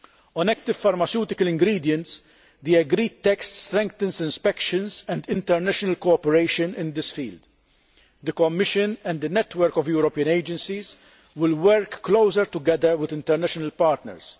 On active pharmaceutical ingredients the agreed text strengthens inspections and international cooperation in this field. The Commission and the network of European agencies will work more closely with international partners.